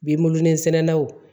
Bilonin sɛnɛlaw